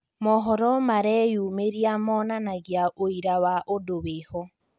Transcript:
Mohoro mareyumĩria monanagia ũira wa ũndũ wĩho